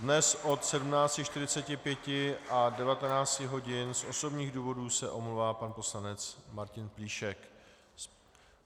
Dnes od 17.45 do 19 hodin z osobních důvodů se omlouvá pan poslanec Martin Plíšek.